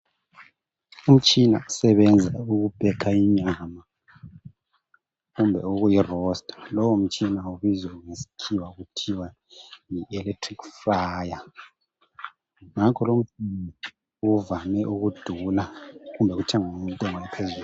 Umitshina osebenzisa ukupheka inyama kumbe ukuyi rosta lo mtshina ubizwa ngesikhiwa kuthiwa yi electric fryer ngakho lokhu uvame ukudura kumbe ukuthengwa ngentengo ephezulu.